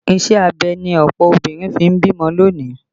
Ìṣe abẹ ni ọ̀pọ̀ obìnrin fi ń bímọ lónìí